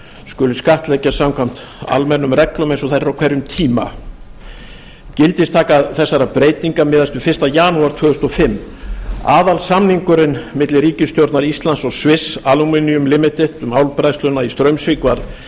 skuli skattleggja samkvæmt almennum reglum eins og þær eru á hverjum tíma gildistaka þessara breytinga miðast við fyrsta janúar tvö þúsund og fimm aðalsamningurinn milli ríkisstjórnar íslands og swiss aluminium ltd um álbræðsluna í straumsvík var